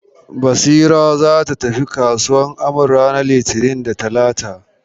Basira za ta tafi kasuwan Amaru ranar litini da talata.